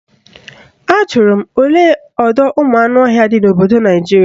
Ajụrụ m olee ọdọụmụanụọhịa dị n'obodo Naijiria